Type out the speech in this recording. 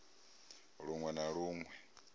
lun we na lun we